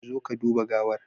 Zo ka duba gawar